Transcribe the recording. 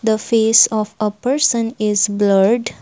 the face of a person is blurred.